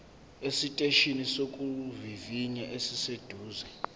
esiteshini sokuvivinya esiseduze